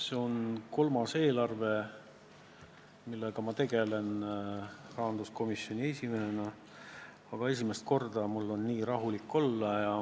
See on kolmas eelarve, millega ma rahanduskomisjoni esimehena tegelen, aga esimest korda olen ma nii rahulik.